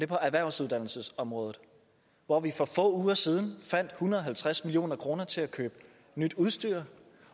på erhvervsuddannelsesområdet hvor vi for få uger siden fandt en hundrede og halvtreds million kroner til at købe nyt udstyr